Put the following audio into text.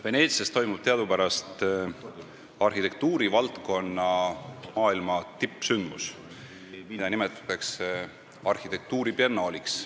Veneetsias toimub teadupärast arhitektuurivaldkonna maailma tippsündmus, mida nimetatakse arhitektuuribiennaaliks.